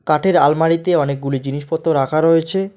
কাঠের আলমারিতে অনেকগুলি জিনিসপত্র রাখা রয়েছে।